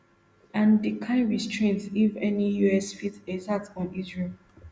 and di kain restraint if any us fit exert on israel